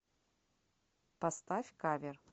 поставь кавер